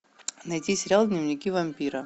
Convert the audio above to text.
найди сериал дневники вампира